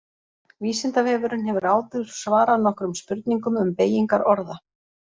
Vísindavefurinn hefur áður svarað nokkrum spurningum um beygingar orða.